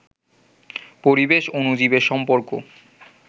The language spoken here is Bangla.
পরিবেশ, অণুজীবের সম্পর্ক